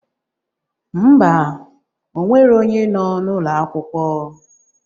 Ḿbà,o nwero onye nọ n'ulọ akwụkwọ